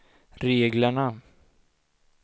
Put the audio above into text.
reglerna